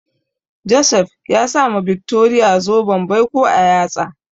Joseph ya sa ma Victoria zoben baiko a yatsa.